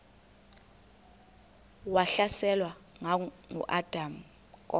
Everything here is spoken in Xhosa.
wahlaselwa nanguadam kok